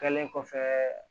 Kɛlen kɔfɛ